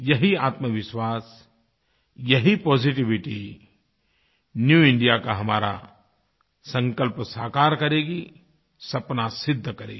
यही आत्मविश्वासयही positivity new India का हमारा संकल्प साकार करेगीसपना सिद्ध करेगी